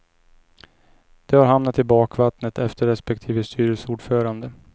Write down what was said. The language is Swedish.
De har hamnat i bakvattnet efter respektive styrelseordförande.